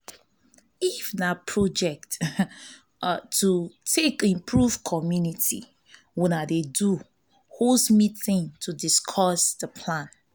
if na project um to um take improve community una dey do host meeting to discuss di plan